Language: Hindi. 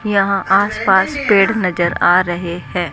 यहां आसपास पेड़ नज़र आ रहे हैं।